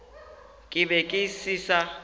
ke be ke se sa